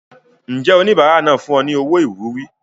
Ǹjẹ́ oníbàárà náà fún ọ ní owó ìwúrí?